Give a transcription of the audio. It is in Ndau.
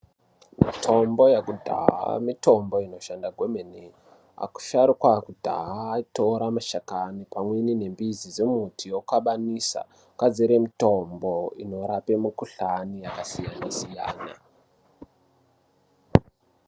Mitombo yakudhaya mitombo inoshanda kwemene. Asharuka akudhaya aitora mashakani pamwe nembizi dzemiti oxabanisa, ogadzire mitombo inorape mikhuhlani yakasiyana-siyana .